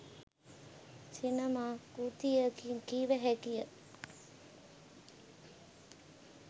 සිනමා කෘතියකියි කිව හැකිය.